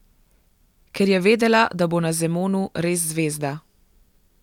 Ker je vedela, da bo na Zemonu res zvezda.